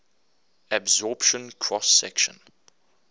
absorption cross section